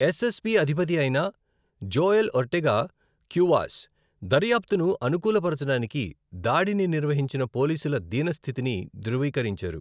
Yes S P అధిపతి అయిన Joel Ortega Cuevas, దర్యాప్తును అనుకూల పరచడానికి దాడిని నిర్వహించిన పోలీసుల దీన స్థితిని ధృవీకరించారు.